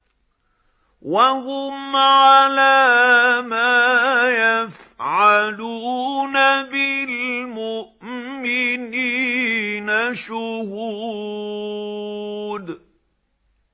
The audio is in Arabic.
وَهُمْ عَلَىٰ مَا يَفْعَلُونَ بِالْمُؤْمِنِينَ شُهُودٌ